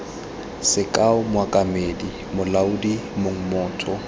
sekao mokaedi molaodi mong motho